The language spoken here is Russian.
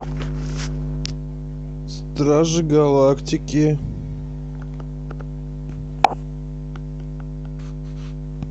стражи галактики